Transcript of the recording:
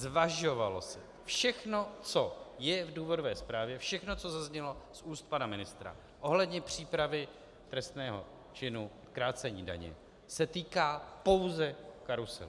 Zvažovalo se - všechno, co je v důvodové zprávě, všechno, co zaznělo z úst pana ministra ohledně přípravy trestného činu krácení daně, se týká pouze karuselu.